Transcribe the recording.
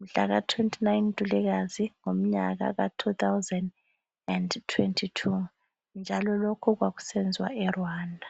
mhlaka 29 Ntulikazi ngomnyaka ka 2022 njalo lokhu kwakusenziwa eRwanda